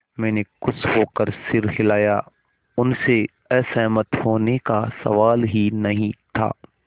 मैंने खुश होकर सिर हिलाया उनसे असहमत होने का सवाल ही नहीं था